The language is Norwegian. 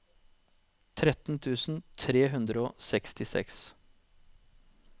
tretten tusen tre hundre og sekstiseks